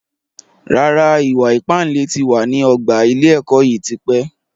Rárá, ìwà ìpánle tí wá ní ọgbà ilé ẹ̀kọ́ yìí tí pẹ́